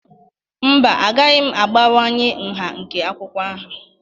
Mba, agaghị m abawanye nha nke akwụkwọ ahụ